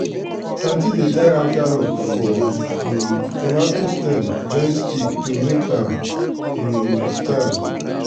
aunty dey tie raffia rope for um tomato stem join stick to make am um stand.